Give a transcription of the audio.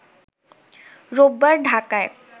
রোববার ঢাকায়